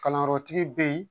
Kalanyɔrɔtigi bɛ yen